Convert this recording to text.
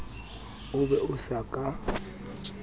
o be o sa ka